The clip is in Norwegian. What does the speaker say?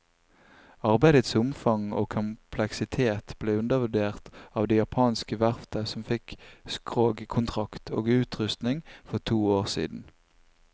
Arbeidets omfang og kompleksitet ble undervurdert av det japanske verftet som fikk skrogkontrakt og utrustning for to år siden.